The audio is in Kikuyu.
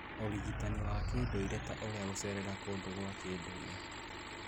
Ũrigitani wa kĩndũire ta ũrĩa gũcerera kũndũ kwa kĩndũire